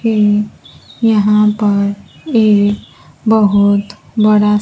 ये यहां पर एक बहुत बड़ा--